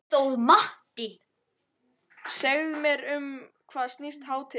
Segðu mér um hvað snýst hátíðin?